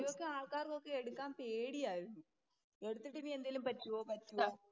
ആൾക്കാർക്കൊക്കെ എടുക്കാൻ പേടിയായിരുന്നു. എടുത്തിട്ട് എന്തെങ്കിലും പറ്റുവോ, പറ്റുവോ